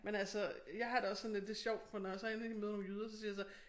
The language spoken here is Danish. Men altså jeg har det også sådan lidt det sjovt for når jeg så endelig møder nogle jyder så siger jeg så